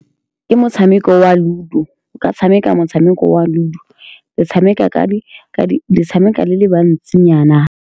Ke motshameko wa ludo o ka tshameka. Motshameko wa ludo le tshameka ka di, ka di le tshameka le le bantsinyana.